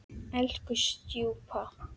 Elsku stjúpa.